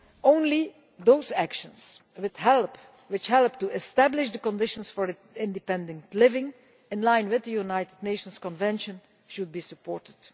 Only those actions which help to establish the conditions for independent living, in line with the United Nations Convention, should be supported.